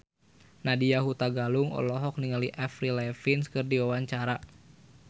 Nadya Hutagalung olohok ningali Avril Lavigne keur diwawancara